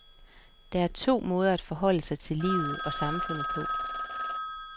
Der er to måder at forholde sig til livet og samfundet på.